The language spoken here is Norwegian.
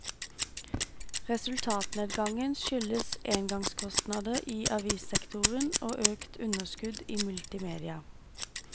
Resultatnedgangen skyldes engangskostnader i avissektoren og økt underskudd i multimedia.